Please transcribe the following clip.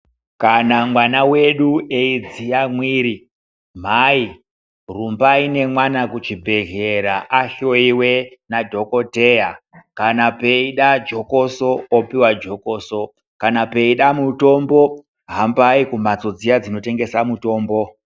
Kana mwana wedu eidziya mwiri, mhai rumbai nemwana kuchibhedhlera ahloiwe nadhogodheya kana peida jokoso opuwa jokoso, kana peida mutombo hambai kumhatso dziya dzinotengesa mutombo.